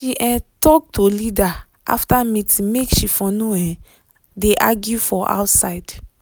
um talk to leader after meeting make she for no um de argue for outside